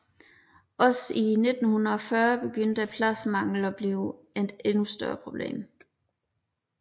Også i 1940 begyndte pladsmanglen at blive et endnu større problem